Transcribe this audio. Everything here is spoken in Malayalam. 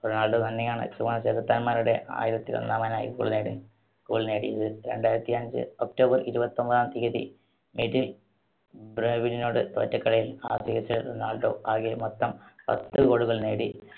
റൊണാൾഡോ തന്നെയാണ് ചുവന്ന ചെകുത്താന്മാരുടെ ആയിരത്തി ഒന്നാമനായി goal goal നേടിയത്. രണ്ടായിരത്തിഅഞ്ച് October ഇരുപത്തൊൻപതാം തീയതി മിഡിൽ‌ ബ്രയവിനോട് തോറ്റ കളിയിൽ ആ season ൽ റൊണാൾഡോ ആകെ മൊത്തം പത്ത് goal കൾ നേടി.